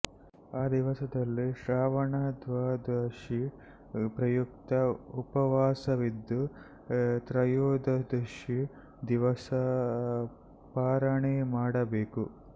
ಆ ದಿವಸದಲ್ಲಿ ಶ್ರವಣದ್ವಾದಶೀ ಪ್ರಯುಕ್ತ ಉಪವಾಸವಿದ್ದು ತ್ರಯೋದಶೀ ದಿವಸ ಪಾರಣೆ ಮಾಡಬೇಕು